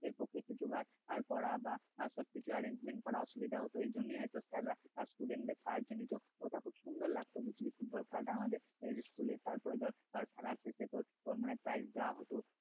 পক্ষে কিন্তু আর জোগাড় করা বা আর সবকিছু arrange করা অসুবিধা হতো এজন্য স্যারেরা আর কি student দের সাহায্য নতি ওটা খুব সুন্দর লাগত ফুটবল খেলাটা আমাদের আমাদের school এর তারপরে ধর খেলার শেষে তোর মানে prize দেওয়া হত